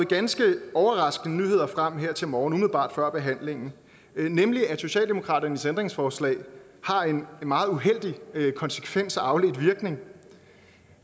ganske overraskende nyheder frem her til morgen umiddelbart før behandlingen nemlig at socialdemokratiets ændringsforslag har en meget uheldig konsekvens og afledt virkning